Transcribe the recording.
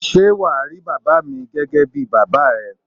Ṣé wà á rí bàbá mi gẹ́gẹ́ bí bàbá ẹ?